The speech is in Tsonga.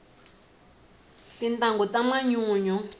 tintangu ta manyunyu